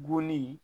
Bonni